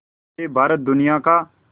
से भारत दुनिया का